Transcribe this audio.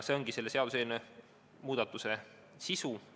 See ongi selle seaduseelnõuga tehtava muudatuse sisu.